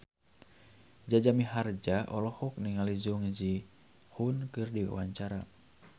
Jaja Mihardja olohok ningali Jung Ji Hoon keur diwawancara